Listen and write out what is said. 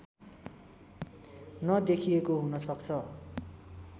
नदेखिएको हुन सक्छ